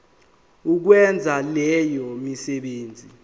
ukwenza leyo misebenzi